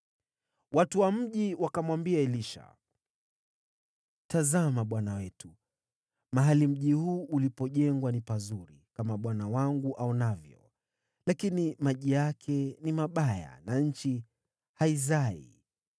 Watu wa mji wakamwambia Elisha, “Tazama, bwana wetu, mahali mji huu ulipojengwa ni pazuri, kama bwana wangu aonavyo, lakini maji yake ni mabaya, na nchi haizai.”